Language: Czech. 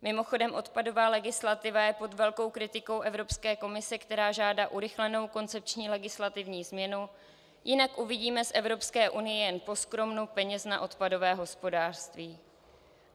Mimochodem, odpadová legislativa je pod velkou kritikou Evropské komise, která žádá urychlenou koncepční legislativní změnu, jinak uvidíme z Evropské unie jen poskrovnu peněz na odpadové hospodářství.